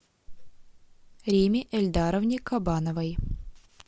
римме ильдаровне кабановой